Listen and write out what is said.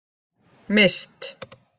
Mist